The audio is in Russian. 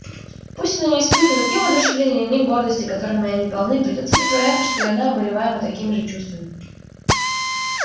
пусть она не испытывает ни воодушевления ни гордости которыми они полны придётся притворяться что и она обуреваема такими же чувствами